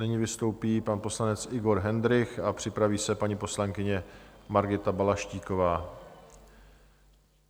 Nyní vystoupí pan poslanec Igor Hendrych a připraví se paní poslankyně Margita Balaštíková.